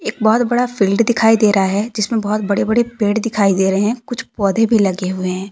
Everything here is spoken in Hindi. बहोत बड़ा फील्ड दिखाई दे रहा है जिसमे बहोत बड़े बड़े पेड़ दिखाई दे रहे कुछ पौधे भी लगे हुए है।